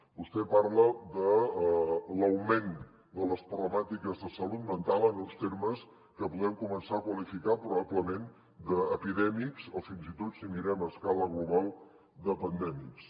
vostè parla de l’augment de les problemàtiques de salut mental en uns termes que podem començar a qualificar probablement d’epidèmics o fins i tot si ho mirem a escala global de pandèmics